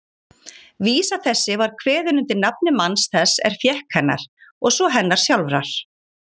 Vísa þessi var kveðin undir nafni manns þess er fékk hennar, og svo hennar sjálfrar